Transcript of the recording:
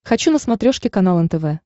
хочу на смотрешке канал нтв